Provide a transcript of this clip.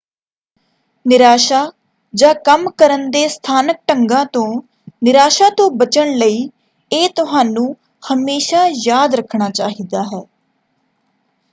ਨਿਰਾਸ਼ਾ ਜਾਂ ਕੰਮ ਕਰਨ ਦੇ ਸਥਾਨਕ ਢੰਗਾਂ ਤੋਂ ਨਿਰਾਸ਼ਾ ਤੋਂ ਬਚਣ ਲਈ ਇਹ ਤੁਹਾਨੂੰ ਹਮੇਸ਼ਾ ਯਾਦ ਰੱਖਣਾ ਚਾਹੀਦਾ ਹੈ